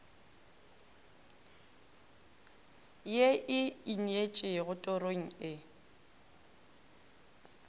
ye e ineetšego torong e